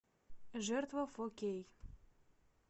жертва фо кей